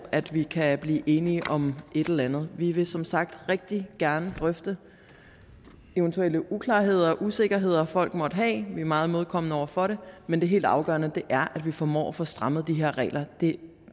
at vi kan blive enige om et eller andet vi vil som sagt rigtig gerne drøfte eventuelle uklarheder og usikkerheder folk måtte have vi er meget imødekommende over for det men det helt afgørende er at vi formår at få strammet de her regler det